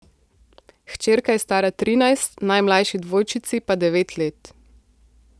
Hčerka je stara trinajst, najmlajši dvojčici pa devet let.